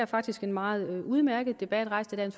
faktisk en meget udmærket debat rejst af